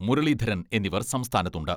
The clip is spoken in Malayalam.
മുരളീധരൻ എന്നിവർ സംസ്ഥാനത്തുണ്ട്.